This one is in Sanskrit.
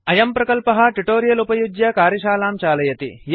अयं प्रकल्पः ट्युटोरियल उपयुज्य कार्यशालां चालयति